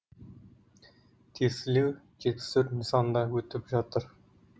тестілеу жетпіс төрт нысанда өттіп жатыр